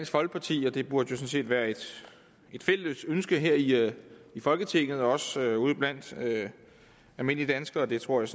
folkeparti og det burde jo sådan set være et fælles ønske her i folketinget og også ude blandt almindelige danskere og det tror jeg